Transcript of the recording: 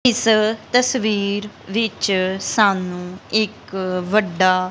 ਇਸ ਤਸਵੀਰ ਵਿੱਚ ਸਾਨੂੰ ਇੱਕ ਵੱਡਾ--